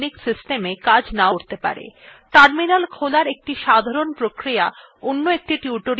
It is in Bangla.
terminal খোলার একটি সাধারণ প্রক্রিয়া অন্য একটি tutorial আগেই ব্যাখ্যা করা হয়েছে